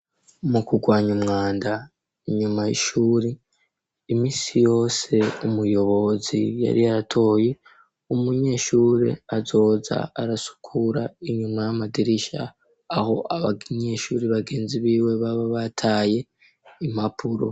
Mukugwanya umwanda inyuma y'ishure iminsi yose umuyobozi yari yaratoye umunyeshure azoza arasukura inyuma yamadirisha aho abanyeshure bagenzi biwe baba bataye impapuro.